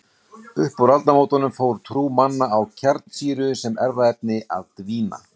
Upp úr aldamótunum fór trú manna á kjarnsýru sem erfðaefni að dvína.